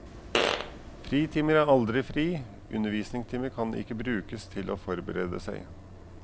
Fritimer er aldri fri, undervisningstimer kan ikke brukes til å forberede seg.